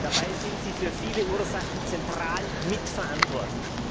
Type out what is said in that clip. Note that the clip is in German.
dabei sind Sie für viele Ursachen zentral mitverantwortlich!